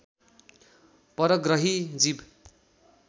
परग्रही जीव